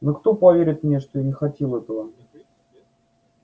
но кто поверит мне что я не хотел этого